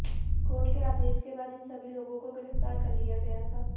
court के आदेश के बाद इन सभी लोगों को गिरफ्तार कर लिया गया था